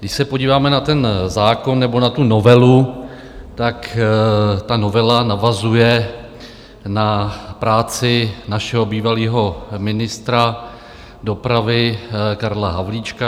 Když se podíváme na ten zákon, nebo na tu novelu, tak ta novela navazuje na práci našeho bývalého ministra dopravy Karla Havlíčka.